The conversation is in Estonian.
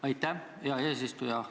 Aitäh, hea eesistuja!